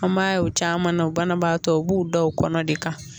An b'a ye u caman na u banabaatɔ u b'u da o kɔnɔ de ka